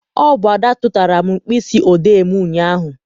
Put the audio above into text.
Ọ bụ Ada tụtara m mkpịsị odee m ụnyaahụ.